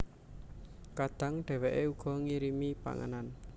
Kadang dhèwèké uga ngirimi panganan